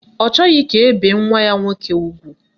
Ọ chọghị ka e bee nwa ya nwaanyị ugwu